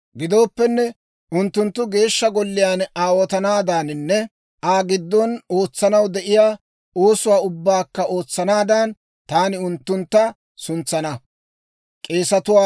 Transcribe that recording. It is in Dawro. Gidooppenne, unttunttu Geeshsha Golliyaan aawotanaadaaninne Aa giddon ootsanaw de'iyaa oosuwaa ubbaakka ootsanaadan, taani unttuntta suntsana.